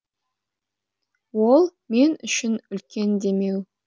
ол мен үшін үлкен демеу